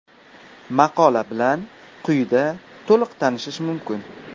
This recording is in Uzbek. Maqola bilan quyida to‘liq tanishish mumkin.